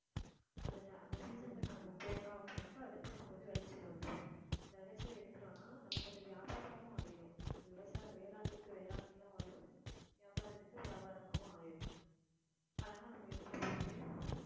அந்த ட~ அந்த season ல இப்போ நம்ம போட்டோம் அப்படினாக்க அடுத்து நமக்கு விளைச்சல் வந்துரும் அந்த விளைச்சல் எடுத்துட்டோம்ன்னா நமக்கு அது வியாபாரமாவும் ஆயிடும் விவசாய வேளாண்மைக்கு வேளாண்மையும் ஆயிடும் வியாபாரத்துக்கு வியாபாரமாவும் ஆயிடும் அழகா நம்ம எடுத்துட்டு போயிட்டு